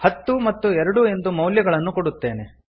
ಹತ್ತು ಮತ್ತು ಎರಡು ಎಂದು ಮೌಲ್ಯಗಳನ್ನು ಕೊಡುತ್ತೇನೆ